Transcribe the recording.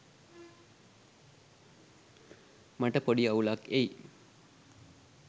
මට පොඩි අවුලක් එයි